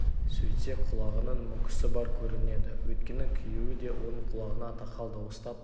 сөйтсе құлағының мүкісі бар көрінеді өйткені күйеуі де оның құлағына тақал дауыстап